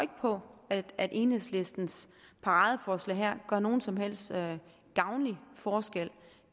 på at enhedslistens paradeforslag her gør nogen som helst gavnlig forskel